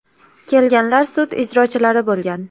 Kelganlar sud ijrochilari bo‘lgan.